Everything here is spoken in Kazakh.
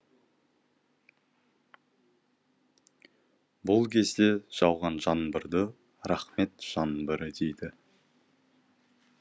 бұл кезде жауған жаңбырды рақмет жаңбыры дейді